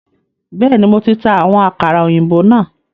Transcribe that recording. Bẹẹni, Mo ti ta àwọn àkàrà òyìnbó náà